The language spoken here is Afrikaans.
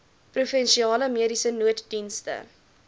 provinsiale mediese nooddienste